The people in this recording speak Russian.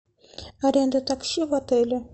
аренда такси в отеле